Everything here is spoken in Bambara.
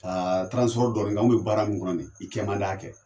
Ka dɔɔnin kɛ, an bɛ baara min kɔnɔ ni, i kɛ man di y'a kɛ.